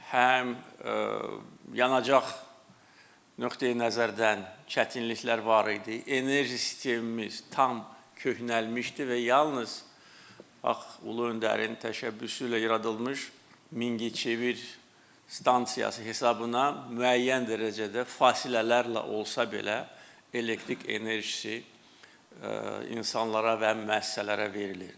Həm yanacaq nöqteyi-nəzərdən çətinliklər var idi, enerji sistemimiz tam köhnəlmişdi və yalnız bax ulu öndərin təşəbbüsü ilə yaradılmış Mingəçevir stansiyası hesabına müəyyən dərəcədə fasilələrlə olsa belə elektrik enerjisi insanlara və müəssisələrə verilirdi.